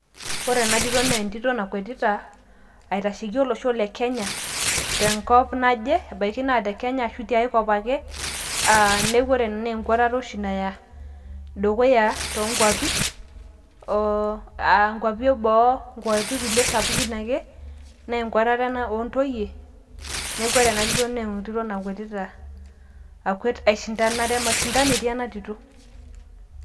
ore ena tito naa entito nakwetita, aitasheki olosho le kenya tenkop naje, ebaiki naa te kenya ashu tiae kop ake, neeku ore ena naa enkwatata oshia naya dukuya too nkuapi, oo aa nkwapi eboo, aa nkwapi sapukin ake, naa enkwatata ena oontoyie, neeku ore ena tito naa entito nakwetita, mashindano etiii ena tito.